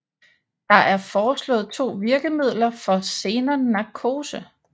Der er forslået to virkemiddeler for xenon narkose